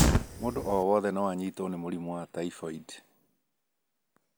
Mũndũ o wothe no anyitwo nĩ mũrimũ wa typhoid